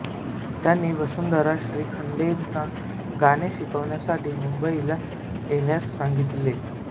त्यांनी वसुंधरा श्रीखंडेंना गाणे शिकण्यासाठी मुंबईला येण्यास सांगितले